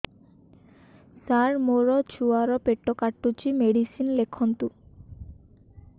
ସାର ମୋର ଛୁଆ ର ପେଟ କାଟୁଚି ମେଡିସିନ ଲେଖନ୍ତୁ